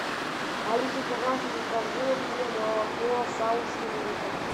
алиса пожалуйста закажи мне молоко савушкин литр